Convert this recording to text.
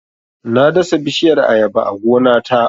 Na dasa bishiyar Ayaba a gona ta